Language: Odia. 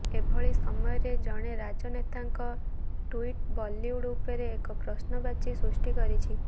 ଏଭଳି ସମୟରେ ଜଣେ ରାଜନେତାଙ୍କ ଟ୍ୱିଟ୍ ବଲିଉଡ ଉପରେ ଏକ ପ୍ରଶ୍ନବାଚୀ ସୃଷ୍ଟି କରିଛି